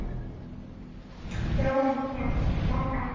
Dóri kom ekki aftur.